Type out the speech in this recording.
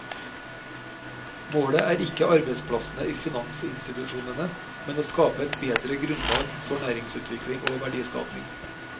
Målet er ikke arbeidsplassene i finansinstitusjonene, men å skape et bedre grunnlag for næringsutvikling og verdiskaping.